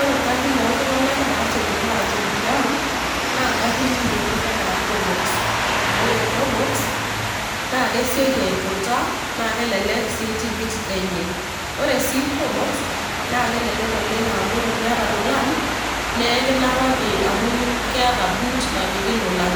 ore garin oltunganak naasiokini aatum tiang. naa probox amu ore probox, naa kesioki aiputa naa kelelk sii tikit enye. ore sii prpbox, naa kelelk oleng amu tiniata lolan, naa ekinapaki amu kiata boot napiki lolan,